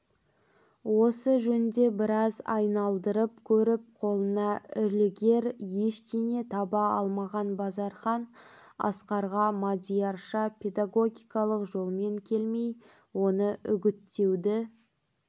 осы жөнде біраз айналдырып көріп қолына ілігер ештеңе таба алмаған базархан асқарға мадиярша педагогикалық жолмен келмей оны үгіттеуді